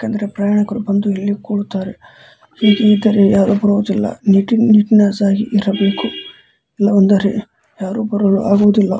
ಯಾಕಂದ್ರೆ ಪ್ರಯಾಣಿಕರು ಬಂದು ಕೂರುತ್ತಾರೆ ಹೀಗೆ ಇದ್ದರೆ ಯಾರು ಬರುವುದಿಲ್ಲ ನೀಟ್ನೆಸ್ಸ್ ಆಗಿ ಇರ್ಬೇಕು ಅಂದರೆ ಯಾರು ಬರಲು ಆಗುವುದಿಲ್ಲ.